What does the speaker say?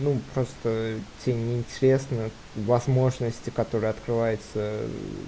ну просто тебе не интересно возможности которые открывается э